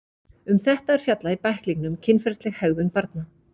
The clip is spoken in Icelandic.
um þetta er fjallað í bæklingnum kynferðisleg hegðun barna